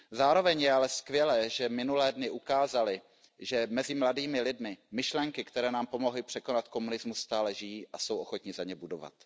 Zároveň je ale skvělé, že minulé dny ukázaly, že mezi mladými lidmi myšlenky, které nám pomohly překonat komunismus, stále žijí a jsou ochotni za ně bojovat.